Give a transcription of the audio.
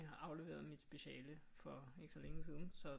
Afleveret mit speciale for ikke så længe siden så